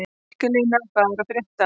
Mikaelína, hvað er að frétta?